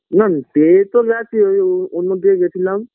নাম পেয়ে তো গেছি ঐ অন্যদিকে গেছিলাম